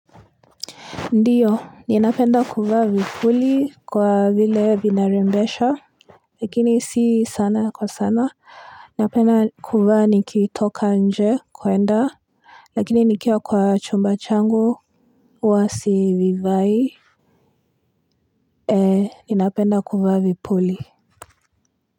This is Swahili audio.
Ndiyo, ninapenda kuvaa vipuli kwa vile vinarembesha, lakini si sana kwa sana, ninapenda kuvaa nikitoka nje kuenda, lakini nikia kwa chumba changu, huwasi vivai, eh ninapenda kuvaa vipuli.